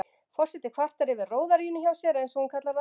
Forseti kvartar yfir róðaríinu hjá sér, eins og hún kallar það.